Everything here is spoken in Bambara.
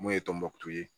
Mun ye tɔnbɔkutu